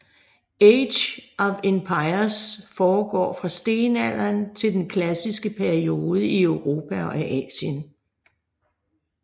Age of Empires foregår fra stenalderen til den klassiske periode i Europa og Asien